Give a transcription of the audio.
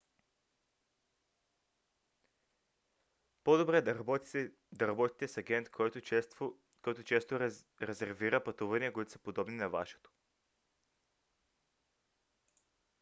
по-добре да работите с агент който често резервира пътувания които са подобни на вашето